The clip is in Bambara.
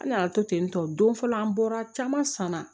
An nana to ten tɔ don fɔlɔ an bɔra caman san na